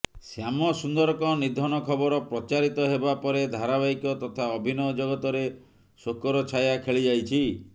ଶ୍ୟାମସୁନ୍ଦରଙ୍କ ନିଧନ ଖବର ପ୍ରଚାରିତ ହେବା ପରେ ଧାରାବାହିକ ତଥା ଅଭିନୟ ଜଗତରେ ଶୋକର ଛାୟା ଖେଳିଯାଇଛି